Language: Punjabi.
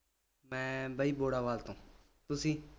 ਮੈਂ ਬਈ ਬੋੜਾਵਾਲ ਤੋਂ ਤੁਸੀਂ